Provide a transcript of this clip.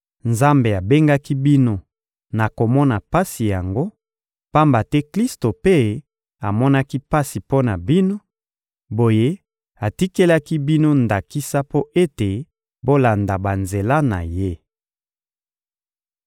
Nzambe abengaki bino na komona pasi yango, pamba te Klisto mpe amonaki pasi mpo na bino; boye atikelaki bino ndakisa mpo ete bolanda banzela na Ye.